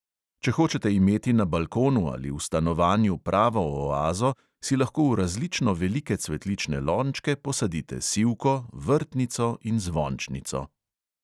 Če hočete imeti na balkonu ali v stanovanju pravo oazo, si lahko v različno velike cvetlične lončke posadite sivko, vrtnico in zvončnico.